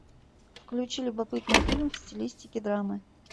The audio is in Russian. включи любопытный фильм в стилистике драмы